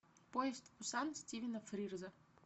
поезд в пусан стивена фрирза